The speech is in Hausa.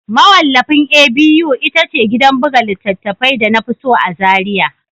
Mawallafin A.B.U ita ce gidan buga littattafai da na fi so a Zariya